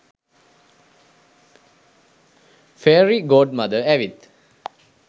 fairy godmother ඇවිත්